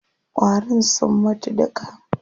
Ƙwarin sun mutu duka.